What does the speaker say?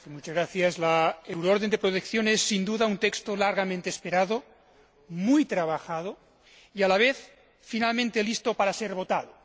Señora Presidenta, la orden europea de protección es, sin duda, un texto largamente esperado, muy trabajado y, a la vez, finalmente listo para ser votado.